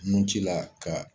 Nun ci la ka